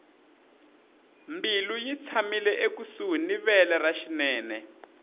mbilu yi tshamile ekusuhi ni vele ra xinene